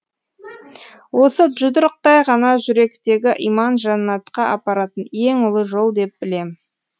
осы жұдырықтай ғана жүректегі иман жәннатқа апаратын ең ұлы жол деп білем